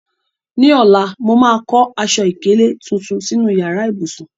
Ní ọ̀la, màá kọ́ aṣọ ìkélé tuntun sínú yàrá ìbùsùn.